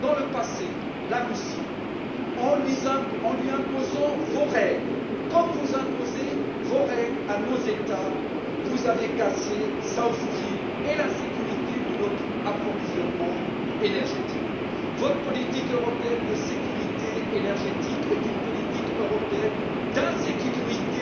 Dans le passé, en imposant vos règles à la Russie comme vous imposez vos règles à nos États vous avez cassé South Stream et la sécurité de notre approvisionnement énergétique. Votre politique européenne de sécurité énergétique est une politique européenne d'insécurité